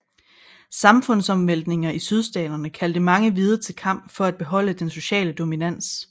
Samfundsomvæltningerne i Sydstaterne kaldte mange hvide til kamp for at beholde den sociale dominans